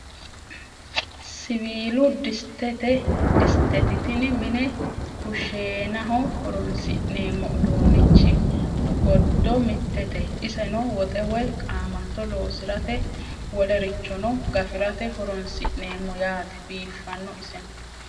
Siwiilu disitetti tini mine kushshenaho horonisinemmo uddunichi goddo mittete iseno woxe woyi qaamatto loosiratte wolerichonno gafirate horonisinnemo yaate biifano iseno